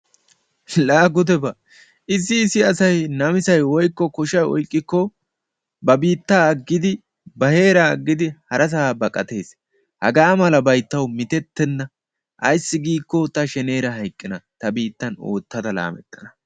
Laa gudeba! Issi issi asayi namisayi woykko koshayi oyqqikko ba biittaa aggidi ba heeraa aggidi harasaa baqatees. Hagaa malabayi tawu mitettenna ayssi giikko ta sheneera hayqqan ta biittan oottada laamettana